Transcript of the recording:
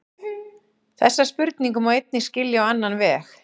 Þessa spurningu má einnig skilja á annan veg.